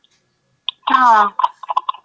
हां.